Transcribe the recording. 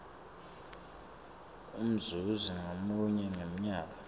umzuzi ngamunye ngemnyaka